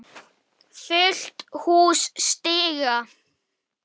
Fullt hús stiga.